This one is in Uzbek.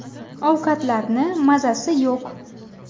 Ovqatlarni mazasi yo‘q.